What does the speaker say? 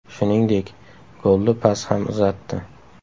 Shuningdek, golli pas ham uzatdi.